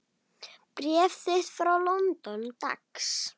Bréf þitt frá London, dags.